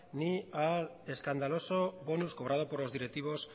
ni al escandaloso bonus cobrado por los directivos